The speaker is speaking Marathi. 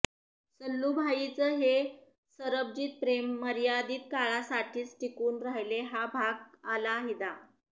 सल्लूभाईचे हे सरबजितप्रेम मर्यादित काळासाठीच टिकून राहिले हा भाग अलाहिदा